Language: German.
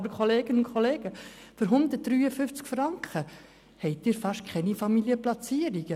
Aber, Kolleginnen und Kollegen, bei 153 Franken haben Sie fast keine Familienplatzierungen.